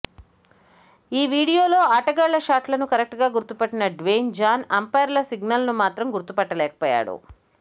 ఈ వీడియోలో ఆటగాళ్ల షాట్లను కరెక్టుగా గుర్తుపట్టిన డ్వేన్ జాన్ అంఫైర్ల సిగ్నల్స్ను మాత్రం గుర్తుపట్టలేకపోయాడు